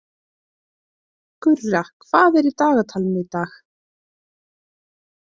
Gurra, hvað er í dagatalinu í dag?